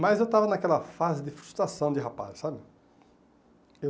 Mas eu estava naquela fase de frustração de rapaz, sabe? Eu